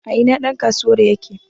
a ina ɗankasuwar yake?